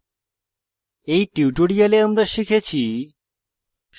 in tutorial আমরা শিখেছি